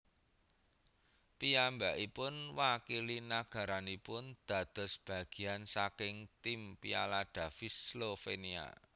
Piyambakipun wakili nagaranipun dados bagian saking tim Piala Davis Slovenia